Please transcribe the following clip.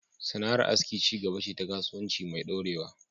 Sana’ar aski ci gaba ce ta kasuwanci mai dorewa